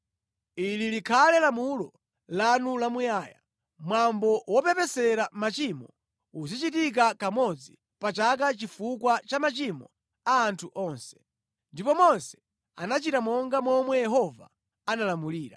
“Ili likhale lamulo lanu lamuyaya. Mwambo wopepesera machimo uzichitika kamodzi pa chaka chifukwa cha machimo a anthu onse.” Ndipo Mose anachita monga momwe Yehova analamulira.